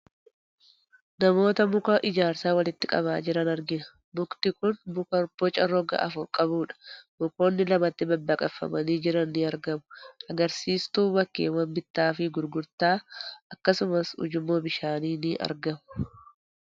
Namoota muka ijaarsaa walitti qabaa jiran argina. Mukti kun muka boca roga afur qabudha. Mukoonni lamatti babbaqaqfamanii jirani ni argamu. Agarsiistuu bakkeewwan bittaa fi gurgurtaa akkasumas, ujummoo bishaanii ni argamu.